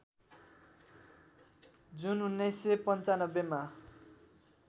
जुन १९९५ मा